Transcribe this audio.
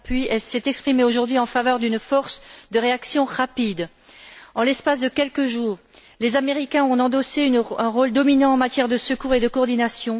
van Rompuy, s'est exprimé aujourd'hui en faveur d'une force de réaction rapide. En l'espace de quelques jours, les Américains ont endossé un rôle dominant en matière de secours et de coordination.